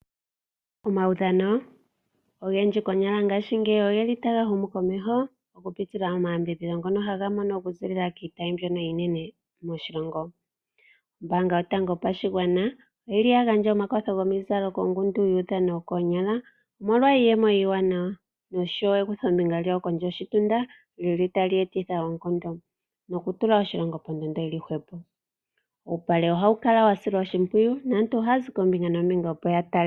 Omaudhano ogendji konyala ngashingeyi ogeli taga humu komeho, oku pitila mo mayambidhidho ngono haga mono oku zilila kiitayi mbyono iinene moshilongo. Ombaanga yotango yo pashigwana oyili ya gandja omakwatho gomizalo kongundu yuudhano wo koonyala, omolwa iiyemo iiwanawa nosho wo ekutho mbinga lyawo kondje yo shitunda lyili tali etitha oonkondo. Nokutula oshilongo pondondo yili hwepo, uupale ohawu kala wa silwa oshimpwiyu. Naantu haya zi koombinga noombinga ya tale.